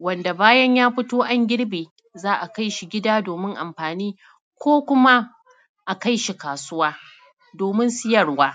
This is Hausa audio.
wato bayan ya fito an girbe za a kai shi gida doomin amfaani ko kuma akai shi kaasuwa doomin siyarwa.